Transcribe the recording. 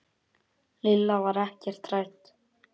Lilla var ekkert hrædd.